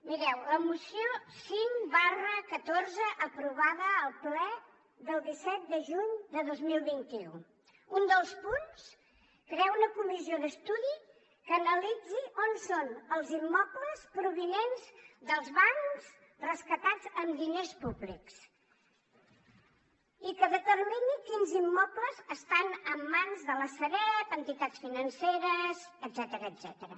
mireu la moció cinc xiv aprovada al ple del disset de juny de dos mil vint u un dels punts crear una comissió d’estudi que analitzi on són els immobles provinents dels bancs rescatats amb diners públics i que determini quins immobles estan en mans de la sareb entitats financeres etcètera